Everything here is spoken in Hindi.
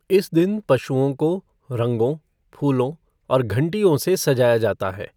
इस दिन पशुओं को रंगों, फूलों और घंटियों से सजाया जाता है।